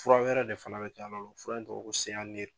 Fura wɛrɛ de fana bɛ , fura in tɔgɔ ye ko